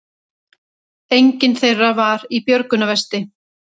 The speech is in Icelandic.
Enginn þeirra var í björgunarvesti